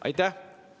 Aitäh!